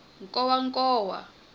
nkowankowa